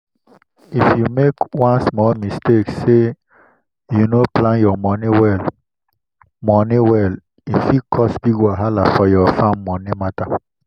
if u make one small mistake say u no plan ur money well money well e fit cause big wahala for ur farm money matter.